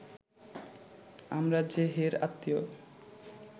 আমরা যে হের আত্মীয়